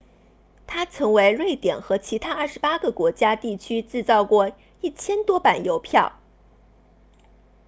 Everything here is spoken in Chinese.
他曾为瑞典和其他28个国家地区制作过1000多版邮票